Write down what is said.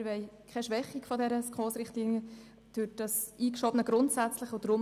Wir wollen keine Schwächung der SKOS-Richtlinien durch das eingeschobene «grundsätzlich».